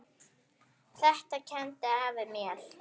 Þetta kenndi afi mér.